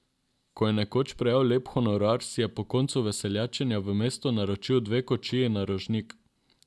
Ko je nekoč prejel lep honorar, si je po koncu veseljačenja v mestu naročil dve kočiji na Rožnik.